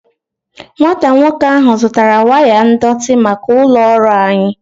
Nwata nwoke ahu zutara waya ndọtị maka ulo ọrụ anyi